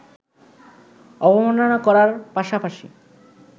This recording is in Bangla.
অবমাননা করার পাশাপাশি